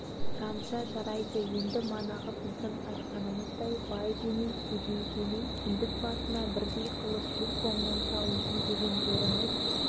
қане жамағат банағы ақша мәселесін бітірелік ешкім қол көтерген жоқ тек жоғарғы айтылған он шақты адам